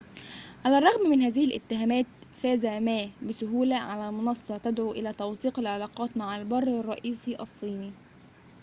على الرغم من هذه الاتهامات فاز ما بسهولة على منصة تدعو إلى توثيق العلاقات مع البر الرئيسي الصيني